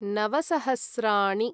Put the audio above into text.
नव सहस्राणि